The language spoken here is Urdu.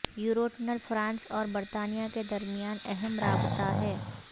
یوروٹنل فرانس اور برطانیہ کے درمیان اہم رابطہ ہے